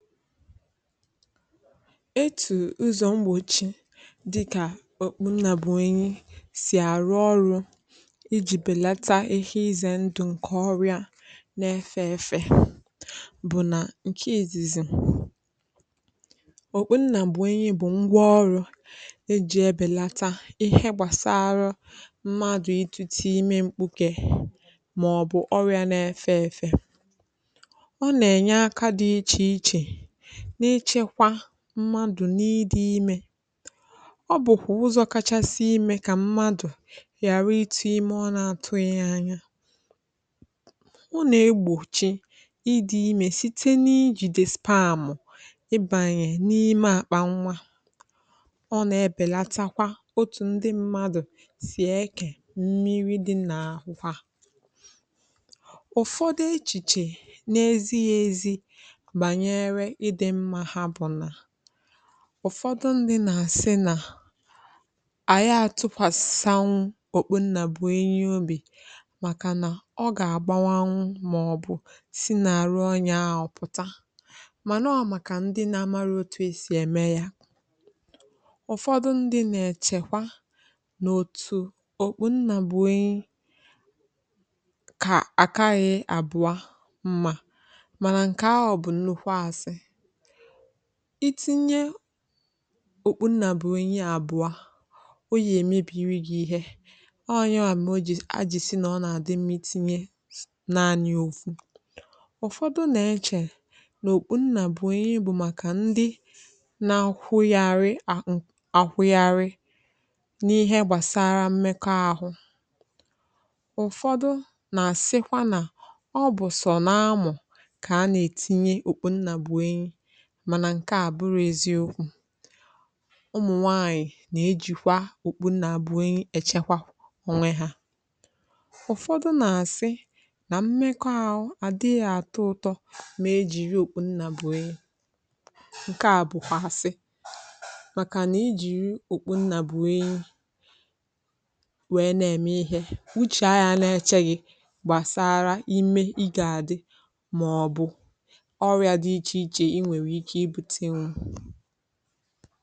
file 120 etù ụzọ̀ mgbòchi dịkà òkpu nnà bụ̀ enyi sì àrụ ọrụ ijì bèlata ihẹ izẹ̀ ndụ̀ ǹkẹ̀ ọrịa na ẹfẹ ẹfẹ̀ bụ̀ nà ǹkẹ ìzìzì òkpu nnà bụ̀ enyi bụ̀ ngwa ọrụ̄ e jì ebèlata ịhẹ gbàsarụ mmadù ijì ti ime mkpukē mà ọ̀ bụ ọrịa na ẹfẹ efẹ ọ nà ẹ̀nyẹ aka dị ichè ichè n’ịchẹkwa mmadù n’ịdị imē ọ bụ̀kwà ụzọ kachasị ịmẹ kà mmadù ghàra ị ti imẹ a na atụghị anya o nà egbòchi idi ime site n’ijìdè spàm ị bànyè n’ime àkpà nwā ọ nà ẹbẹlatakwa otù ndị mmadụ̀ sì ẹkẹ̀ mmiri dị nà àkwà ụ̀fọdị echìchè na ezighi ezi bànyẹrẹ ịdị̄ mma ha bụ̀ nà ụ̀fọdị ndī nà àsị nà à ya atụkwàsanwu òkpu nnà bụ̀ enyi obì màkà nà ọ gà àgbanwanwu mà ọ̀ bụ̀ si n’àrụ onyē ahụ̀ pụ̀ta mànà ọ màkà ndị na amarọ̄ otu esì ẹmẹ ya ụ̀fọdị ndị nà èchẹ̀kwa nà òtù òkpù nnà bụ̀ enyi àkaghị àbụọ mmā mànà ǹkẹ̀ ahụ̀ bụ̀ nnukwu asị I tinye òkpu nnà bụ̀ enyi abụọ o yà èmebìri gị ihe ọ yanwà mẹ̀ a jì sị nà ọ nà àdị mmā itinyē naani ofu ụ̀fọdị nà ẹchẹ̀ nà òkpu nnà bụ̀ enyi bụ̀ màkà ndị na akwụgharị akwụgharị n’ịhẹ gbàsara mmẹkọ ahụ ụ̀fọdụ nà àsịkwa nà ọ bụ̀ sọ n’amụ̀ kà a nà ètinye òkpu nnà bụ̀ enyi mànà ǹkẹ̀ à bụrọ eziokwū ụmụ nwànyị̀ nà ejìkwa òkpu nnà bụ enyi ẹ̀chẹkwa ọnwẹ hā ụ̀fọdụ nà àsị nà mmekọ ahụ àdịghị àtọ ụtọ mà ejì ihe òkpu nnà bụ̀ enyi ǹkẹ̀ à bụ̀kwà àsị màkà nà I jìru òkpu nnà bụ̀ enyi wẹ nà ẹ̀mẹ ịhẹ uchè a ya na ẹchẹ gị̄ gbàsara ime ị gà àdị mà ọ̀ bụ̀ ọrịā dị ichè ichè ị nwèrè ike ibūtenwu